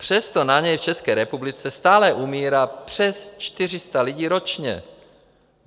Přesto na něj v České republice stále umírá přes 400 lidí ročně.